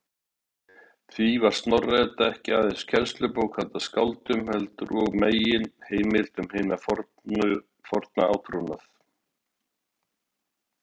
Því var Snorra-Edda ekki aðeins kennslubók handa skáldum, heldur og meginheimild um hinn forna átrúnað.